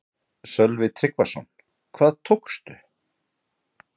Sölvi Tryggvason: Hvað tókstu?